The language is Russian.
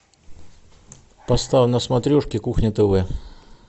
поставь на смотрешке кухня тв